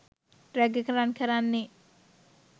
rag එක run කරන්නේ